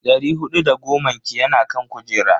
Dari hudu da goman ki yana kan kujera.